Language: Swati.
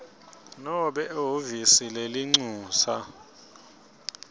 nobe ehhovisi lelincusa